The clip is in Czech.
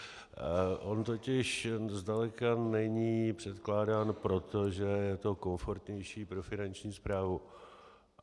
On totiž zdaleka není předkládán proto, že je to komfortnější pro finanční správu.